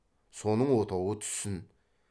соның отауы түссін